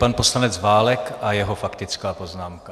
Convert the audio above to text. Pan poslanec Válek a jeho faktická poznámka.